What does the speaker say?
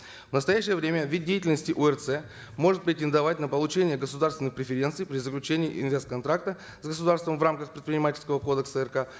в настоящее время вид деятельности орц может претендовать на получение государственных преференций при заключении инвест контракта с государством в рамках предпринимательского кодекса рк